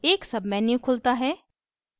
एक menu खुलता है